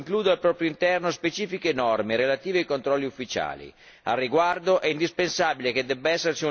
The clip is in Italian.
La disciplina sementiera europea include al proprio interno specifiche norme relative ai controlli ufficiali.